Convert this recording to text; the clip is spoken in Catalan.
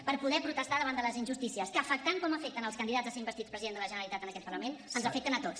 per poder protestar davant de les injustícies que afectant com afecten els candidats a ser investits president de la generalitat en aquest parlament ens afecten a tots